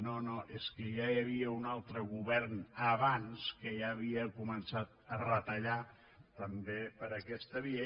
no no és que ja hi havia un altre govern abans que ja havia començat a retallar també per aquesta via